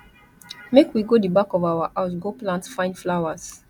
make we go the back of our house go plant fine flowers